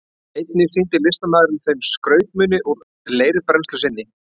Einnig sýndi listamaðurinn þeim skrautmuni úr leirbrennslu sinni.